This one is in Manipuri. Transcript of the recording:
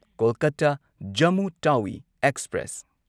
ꯀꯣꯜꯀꯇꯥ ꯖꯝꯃꯨ ꯇꯥꯋꯤ ꯑꯦꯛꯁꯄ꯭ꯔꯦꯁ